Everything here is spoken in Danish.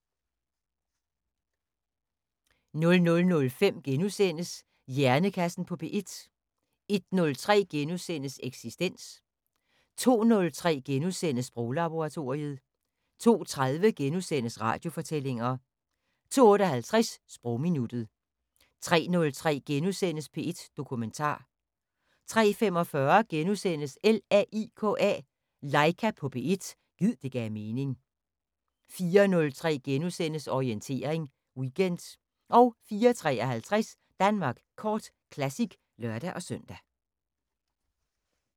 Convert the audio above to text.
00:05: Hjernekassen på P1 * 01:03: Eksistens * 02:03: Sproglaboratoriet * 02:30: Radiofortællinger * 02:58: Sprogminuttet 03:03: P1 Dokumentar * 03:45: LAIKA på P1 – gid det gav mening * 04:03: Orientering Weekend * 04:53: Danmark Kort Classic (lør-søn)